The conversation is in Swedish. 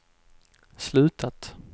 slutat